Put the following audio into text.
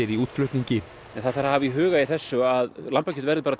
í útflutningi en það þarf að hafa í huga í þessu að lambakjöt verður bara